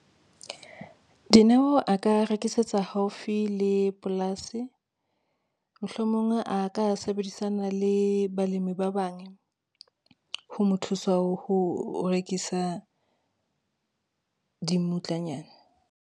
Dineo a ka rekisetsa haufi le polasi, mohlomong a ka sebedisana le balemi ba bang, ho mo thusa ho rekisa dimmutlanyana.